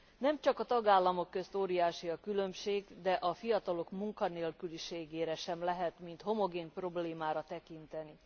Nem csak a tagállamok között óriási a különbség, de a fiatalok munkanélküliségére sem lehet mint homogén problémára tekinteni.